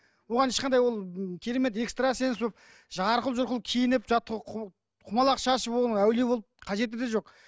оған ешқандай ол керемет экстрасенс болып жарқұл жұрқыл киініп жаңағы құмалақ шашып оған әулие болып қажеті де жоқ